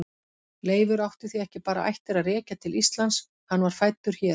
Leifur átti því ekki bara ættir að rekja til Íslands, hann var fæddur hér.